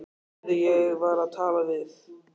Heyrðu, ég var að tala við